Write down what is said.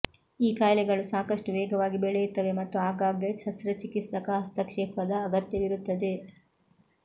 ಈ ಕಾಯಿಲೆಗಳು ಸಾಕಷ್ಟು ವೇಗವಾಗಿ ಬೆಳೆಯುತ್ತವೆ ಮತ್ತು ಆಗಾಗ್ಗೆ ಶಸ್ತ್ರಚಿಕಿತ್ಸಕ ಹಸ್ತಕ್ಷೇಪದ ಅಗತ್ಯವಿರುತ್ತದೆ